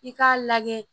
I k'a lajɛ